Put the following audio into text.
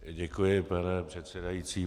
Děkuji, pane předsedající.